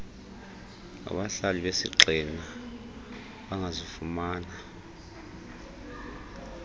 ngabahlali besigxina bangazifumana